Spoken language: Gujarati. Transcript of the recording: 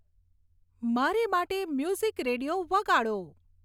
મારે માટે મ્યુઝિક રેડિયો વગાડો